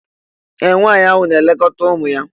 Ee! Nwaanyị ahụ na-elekọta ụmụ ya.